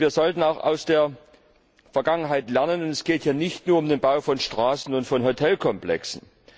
Wir sollten auch aus der Vergangenheit lernen Es geht hier nicht nur um den Bau von Straßen und Hotelkomplexen.